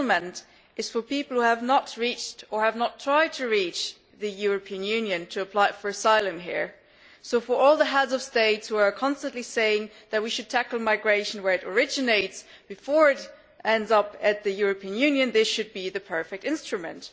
Resettlement is for people who have not reached, or have not tried to reach, the European Union to apply for asylum here, so for all the Heads of State who are constantly saying that we should tackle migration where it originates before it ends up in the European Union, this should be the perfect instrument.